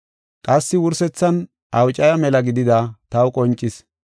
Qassi wursethan awucaya mela gidida taw qoncis.